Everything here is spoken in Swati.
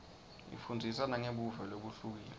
ifundzisa nangebuve lobuhlukile